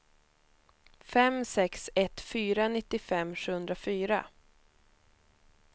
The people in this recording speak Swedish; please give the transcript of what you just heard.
fem sex ett fyra nittiofem sjuhundrafyra